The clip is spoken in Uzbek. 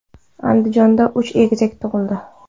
Andijonda uch egizak tug‘ildi.